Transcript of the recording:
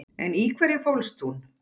En í hverju fólst hún?